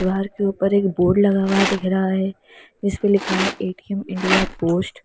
दीवार के ऊपर एक बोर्ड लगा हुआ दिख रहा है जिसपे लिखा है ए_टी_एम इंडिया पोस्ट ।